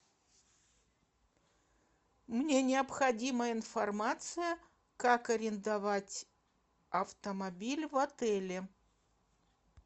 мне необходима информация как арендовать автомобиль в отеле